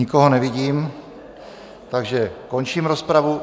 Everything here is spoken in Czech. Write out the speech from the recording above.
Nikoho nevidím, takže končím rozpravu.